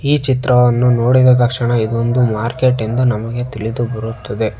ಈ ಚಿತ್ರವನ್ನು ನೋಡಿದ ತಕ್ಷಣ ಇದೊಂದು ಮಾರ್ಕೆಟ್ ಎಂದು ನಮಗೆ ತಿಳಿದು ಬರುತ್ತದೆ.